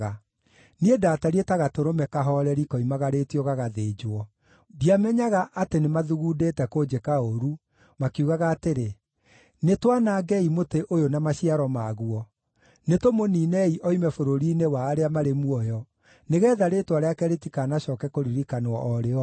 Niĩ ndatariĩ ta gatũrũme kahooreri koimagarĩtio gagathĩnjwo; ndiamenyaga atĩ nĩmathugundĩte kũnjĩka ũũru, makiugaga atĩrĩ, “Nĩtwanangei mũtĩ ũyũ na maciaro maguo; nĩtũmũniinei oime bũrũri-inĩ wa arĩa marĩ muoyo, nĩgeetha rĩĩtwa rĩake rĩtikanacooke kũririkanwo o rĩ, o rĩ.”